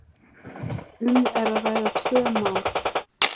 um er að ræða tvö mál.